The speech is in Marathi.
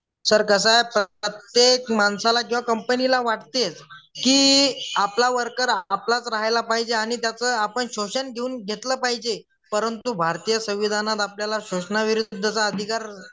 सर कसं आहे प्रत्येक माणसाला किंवा कंपनीला वाटतेच की आपला वर्कर आपलाच राहायला पाहिजे आणि त्याच आपण शोषण घेऊन घेतलं पाहिजे परंतु भारतीय संविधानात आपल्याला शोषणाविरोधात अधिकार